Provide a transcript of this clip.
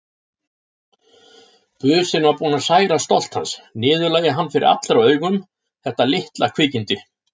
Businn var búinn að særa stolt hans, niðurlægja hann fyrir allra augum, þetta litla kvikindi.